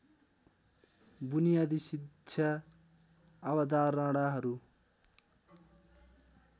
बुनियादी शिक्षा अवधारणाहरू